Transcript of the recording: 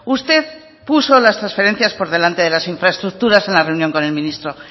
usted puso las transferencias por delante de las infraestructuras en la reunión con el ministro